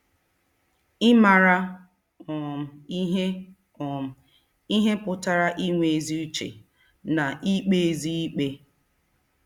Ịmara um ihe um ihe pụtara inwe ezi uche na ikpezi ikpe.